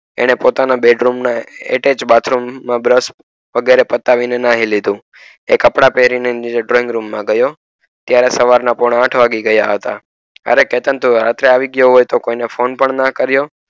એને પોતાના bed room ના નીચે એકજ બાથરૂમ માં brush વગેરે પતાવી ને નહિ લીધૂ એ કપડાં પહેરીને નીચેની room માં ગયો ત્યારે સવારના પોણા આઠ વાગી ગયા હતા અરે ચેતન તું રાત્રે આવી ગયો તો પણ કોઈ ને phone પણ ન કરીયો